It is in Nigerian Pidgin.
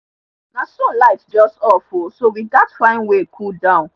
na so light just off o so we gats find way cool down